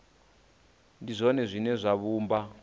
ndi zwone zwine zwa vhumba